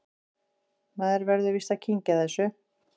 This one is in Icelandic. Maður verður víst að kyngja þessu